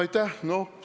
Aitäh!